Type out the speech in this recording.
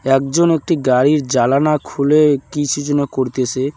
একজন একটি গাড়ির জালানা খুলে কিছু যেন করতেসে।